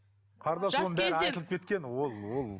қарындас оның бәрі айтылып кеткен ол ол